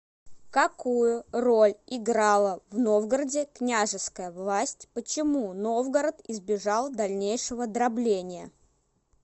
какую роль играла в новгороде княжеская власть почему новгород избежал дальнейшего дробления